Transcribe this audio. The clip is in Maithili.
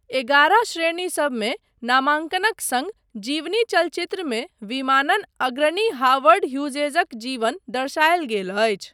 एगारह श्रेणीसबमे नामाङ्कनक सङ्ग जीवनीचलचित्रमे विमानन अग्रणी हॉवर्ड ह्यूजेज़क जीवन दर्शायल गेल अछि।